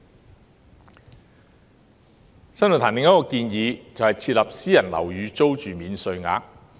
新世紀論壇另一項建議是設立"私人樓宇租金免稅額"。